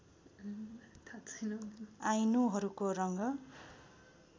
आइनुहरुको रङ्ग